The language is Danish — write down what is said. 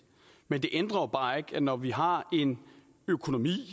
men det ændrer jo bare ikke at når vi har en økonomi